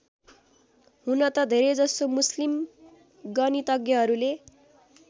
हुन त धेरैजसो मुस्लिम गणितज्ञहरूले